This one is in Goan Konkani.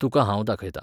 तुका हांव दाखयतां